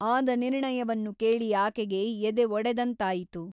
ಆದ ನಿರ್ಣಯವನ್ನು ಕೇಳಿ ಆಕೆಗೆ ಎದೆ ಒಡೆದಂತಾಯಿತು.